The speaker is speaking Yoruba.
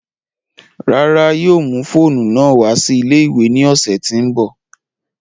Rárá, yóò mu foonu naa wa si ile-iwe ni ọsẹ ti n bọ